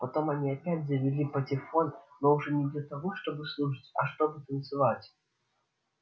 потом они опять завели патефон но уже не для того чтобы слушать а чтобы танцевать